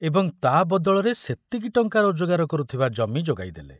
ଏବଂ ତା ବଦଳରେ ସେତିକି ଟଙ୍କା ରୋଜଗାର କରୁଥିବା ଜମି ଯୋଗାଇ ଦେଲେ।